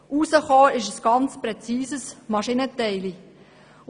Dabei ist ein ganz präzises Maschinenteilchen herausgekommen.